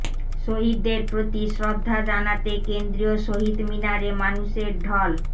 শহীদদের প্রতি শ্রদ্ধা জানাতে কেন্দ্রীয় শহীদ মিনারে মানুষের ঢল